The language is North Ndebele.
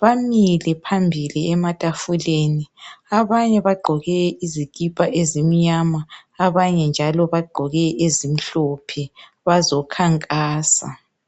bamile phambili ematafuleni abanye bagqoke izikipa ezimnyama abanye njalo bagqoke ezimhlophe bazokhankasa